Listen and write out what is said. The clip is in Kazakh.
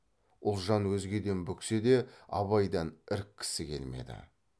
ұлжан өзгеден бүксе де абайдан іріккісі келмеді